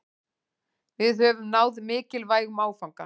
Við höfum náð mikilvægum áfanga